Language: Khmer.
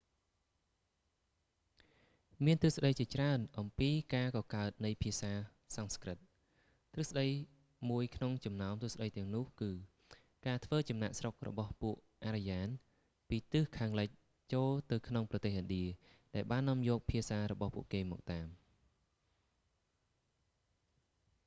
មានទ្រឹស្តីជាច្រើនអំពីការកកើតនៃភាសាសំស្ក្រឹត ទ្រឹស្ដីមួយក្នុងចំណោមទ្រឹស្តីទាំងនោះគឺ ការធ្វើចំណាកស្រុករបស់ពួកអារ្យាន ពីទិសខាងលិចចូលទៅក្នុងប្រទេសឥណ្ឌា ដែលបាននាំយកភាសារបស់ពួកគេមកតាម